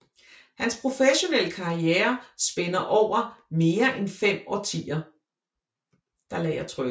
Hans professionelle karriere spænder over mere end fem årtier